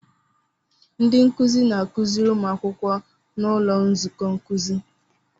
Ndị nkuzi na-akụziri ụmụ akwụkwọ n'ụlọ nzukọ nkuzi.